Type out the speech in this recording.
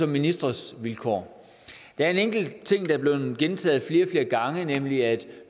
ministres vilkår der er en enkelt ting der er blevet gentaget flere gange nemlig at